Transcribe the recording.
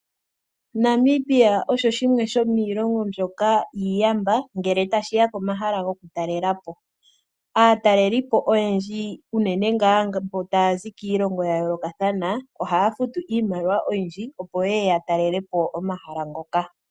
Namibia osho shimwe shomiilongo mbyoka iiyamba ngele tashi ya komahala gokutalela po. Aatalelipo oyendji unene tuu mboka taya zi kiilongo ya yoolokathana ohaya futu iimaliwa oyindji, opo ye ye ya talele po omahala ngoka.